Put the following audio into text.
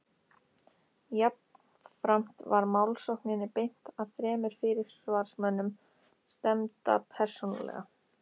Jafnframt var málssókninni beint að þremur fyrirsvarsmönnum stefnda persónulega.